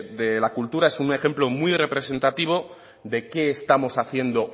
de la cultura es un ejemplo muy representativo de qué estamos haciendo